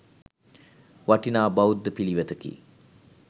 වටිනා බෞද්ධ පිළිවෙතකි.